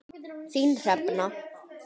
Þín Hrefna.